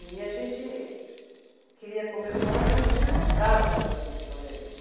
E a gente queria comer fora, menina não entrava sozinha no restaurante.